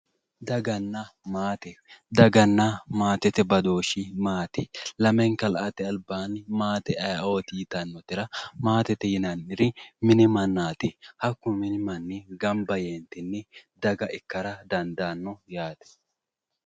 Daganna maate daganna maate badooshshi maati? Lamenka la"ate albaanni maate ayeooti yitannotera maatete yinanniri mini mannaati hakkuno mini manni gamba yee daga ikkara dandaanno yaate.